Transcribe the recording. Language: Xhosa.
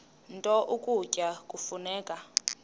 nto ukutya kufuneka